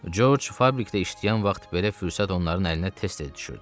George fabrikdə işləyən vaxt belə fürsət onların əlinə tez-tez düşürdü.